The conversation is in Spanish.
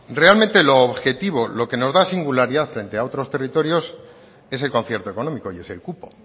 realmente lo objetivo lo que nos da singularidad frente a otros territorios es el concierto económico y es el cupo